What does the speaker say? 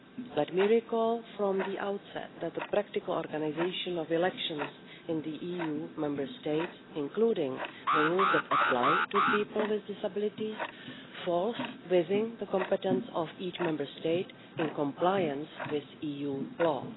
Let me recall from the outset that the practical organisation of elections in the EU Member States, including the rules that apply to people with disabilities, falls within the competence of each Member State in compliance with EU law.